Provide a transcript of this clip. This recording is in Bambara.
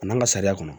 A n'an ka sariya kɔnɔ